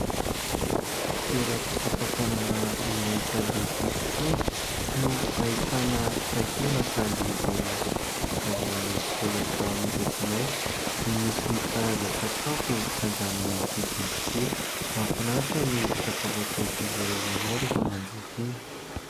Toeram-pisakafoanana iray sady fisotroana no ahitana takelaka lehibe vita avy amin'ny solaitra miloko mainty no misy karazan-tsakafo sady amin'ny vidiny tokoa, mahafinaritra ny sakafo atolotr'izy ireo anao rehefa manjifa iny.